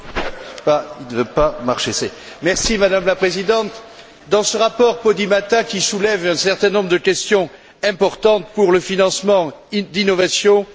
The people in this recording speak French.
Madame la Présidente, dans ce rapport Podimata qui soulève un certain nombre de questions importantes pour le financement d'innovations, je regrette une certaine confusion.